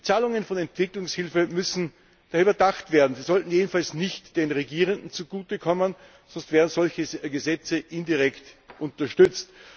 Die Zahlungen von Entwicklungshilfe müssen daher überdacht werden. Sie sollten jedenfalls nicht den Regierenden zugutekommen, sonst würden solche Gesetze indirekt unterstützt.